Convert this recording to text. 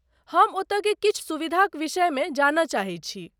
हम ओतयके किछु सुविधाक विषयमे जानय चाहैत छी।